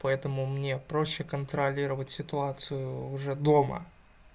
поэтому мне проще контролировать ситуацию уже дома